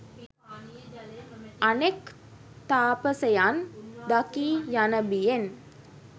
අනෙක් තාපසයන් දකී යන බියෙන්